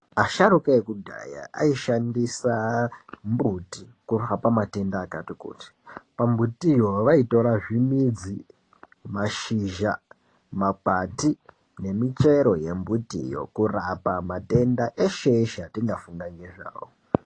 Asharukwa ekudhaya aishandisa mbuti kuhapa matenda akati kuti pambutiwo vaitora zvimidzi mashizha makwati nemichero yembutiwo kurapa matenda eshe eshe atingafunga ngezvawo.